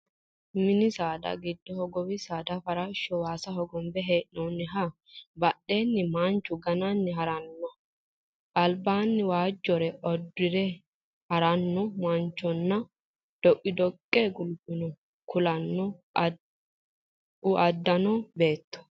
Mini saada giddonni hogowi saada farashsho waasa hogombe hee'noonniha, badheenni manchu gananni harannoha, albaanni waajjore uddire haranno mancho nna dhoqidhoqqe gulufino kuula uddano beetto.